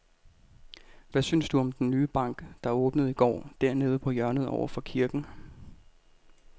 Hvad synes du om den nye bank, der åbnede i går dernede på hjørnet over for kirken?